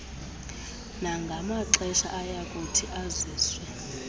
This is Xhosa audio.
nangamaxesha ayakuthi aziswe